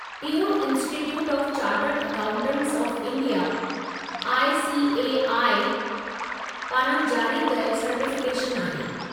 इहो institute of chartered accountants of India (I. C. A. I.) पारां जारी कयलु सर्टिफ़िकेशनु आहे।